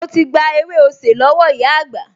Mo ti gba ewé osè lọ́wọ́ ìyá àgbà